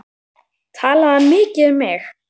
Talaði hann mikið um mig?